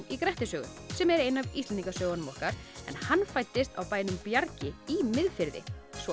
í Grettissögu sem er ein af Íslendinga sögunum okkar hann fæddist á bænum Bjargi í Miðfirði